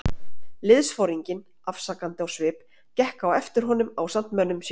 Liðsforinginn, afsakandi á svip, gekk á eftir honum ásamt mönnum sínum.